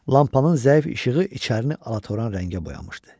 Lampanın zəif işığı içərini alatoran rəngə boyamışdı.